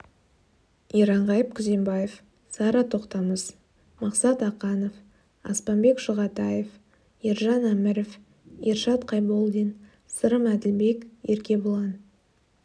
иранғайып күзембаев сара тоқтамыс мақсат ақанов аспанбек шұғатаев ержан әміров ершат қайболдин сырым әділбек еркебұлан